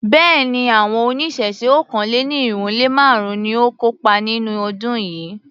Béèni, àwọn oníṣẹ̀ṣe okòó-lé-ní-irínwó-lé-márùn-ún ni ó kópa nínú ọdún yìí.